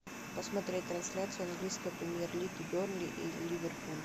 посмотреть трансляцию английской премьер лиги бернли и ливерпуль